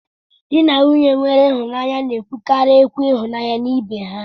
Di na nwunye nwere ịhụnanya na-ekwukarị okwu ịhụnanya na ibe ha